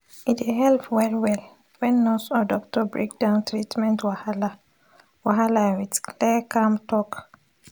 e dey help well-well when nurse or doctor break down treatment wahala wahala with clear calm talk.